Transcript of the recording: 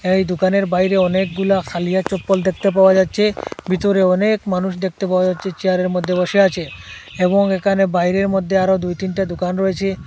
এই দোকানের বাইরে অনেকগুলা খালিয়া চপ্পল দেখতে পাওয়া যাচ্ছে ভিতরে অনেক মানুষ দেখতে পাওয়া যাচ্ছে চেয়ারের মধ্যে বসে আছে এবং এখানে বাইরের মধ্যে আরো দুই তিনটা দোকান রয়েছে।